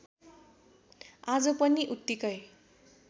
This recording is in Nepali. आज पनि उत्तिकै